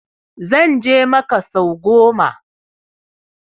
Zan je makka sau goma